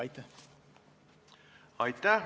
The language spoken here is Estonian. Aitäh!